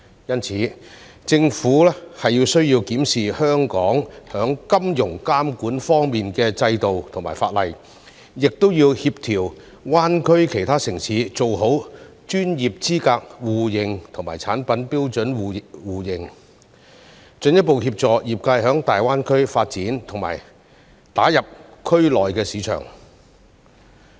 因此，政府需要檢視香港在金融監管方面的制度和法例，亦要協調大灣區其他城市做好專業資格互認及產品標準互認，進一步協助業界在大灣區發展並打入區內的市場。